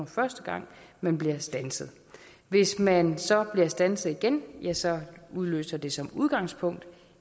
første gang man bliver standset hvis man så bliver standset igen ja så udløser det som udgangspunkt